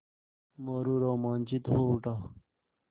मोरू रोमांचित हो उठा